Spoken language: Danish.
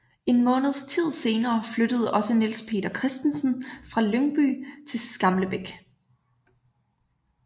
En månedstid senere flyttede også Niels Peter Christensen fra Lyngby til Skamlebæk